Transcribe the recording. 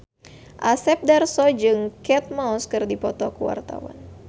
Asep Darso jeung Kate Moss keur dipoto ku wartawan